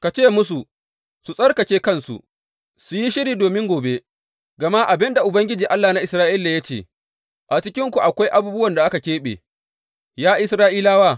Ka ce musu su tsarkake kansu, su yi shiri domin gobe; gama ga abin da Ubangiji, Allah na Isra’ila ya ce, a cikinku akwai abubuwan da aka keɓe, ya Isra’ilawa.